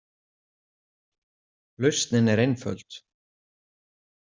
„Lausnin er einföld“.